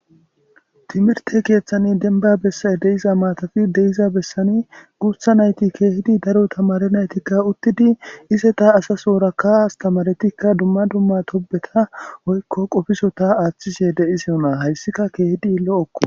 Timirte keeththani denba bessane deiza matafi deiza bessani guutha nayti keehidi daro tamare naytikka uttidi ise ta asaso worakka astamaretikka dumma dumma tobeta oykko qofiso ta aaththisye de iseyo naa hayssika keehidi lo7okko